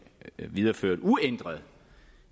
videreført uændrede